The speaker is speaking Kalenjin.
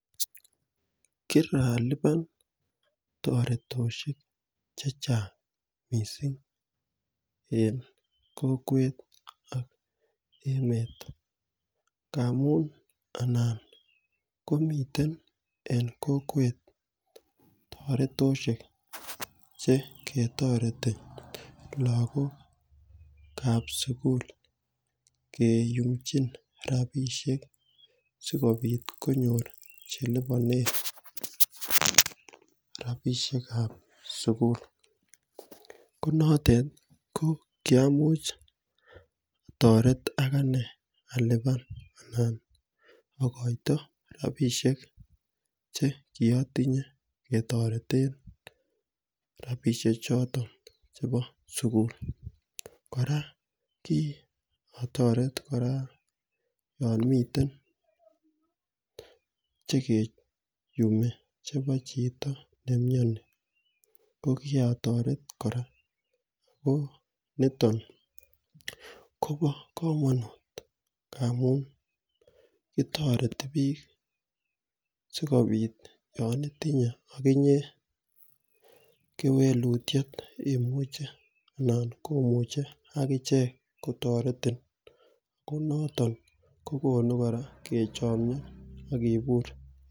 Kirakipan toretoshek chechang missing en kokwet ak emet ngamun anan komiten en kokwet toretoshek cheketoreti lokokab sukul kiyumchin rabishek sikopit konyor chelipone rabishekab sukul ko notet ko kiamuch otoret akanee alipan anan okoito rabishek chekiotinye ketoreten rabishek choton chekibo sukul . Koraa kikotoret koraa chekimiten chekiyumi chekibo chito nemioni ko koitoret koraa ,ko niton Kobo komonut ngamun kitoreti bik sikopit yon itinye okinye kewekutyet anan komuche akichek kotoretin n Ko noton kokonu kechomio ak kobur.